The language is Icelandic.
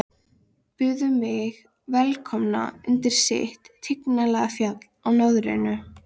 Byðu mig velkomna undir sitt tignarlega fjall í norðrinu.